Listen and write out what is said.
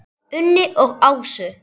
Unni og Ásu.